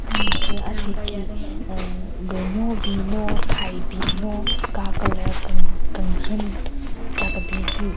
Tsü ase ki hhmm günyo bin no thai bin no ka colour ken kenhen cha kebin hyu.